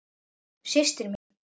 Systir mín?